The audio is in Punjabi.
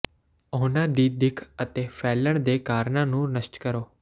ਉਨ੍ਹਾਂ ਦੀ ਦਿੱਖ ਅਤੇ ਫੈਲਣ ਦੇ ਕਾਰਨਾਂ ਨੂੰ ਨਸ਼ਟ ਕਰੋ